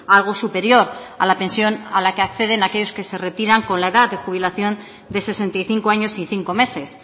algo superior a la pensión a la que acceden aquellos que se retiran con la edad de jubilación de sesenta y cinco años y cinco meses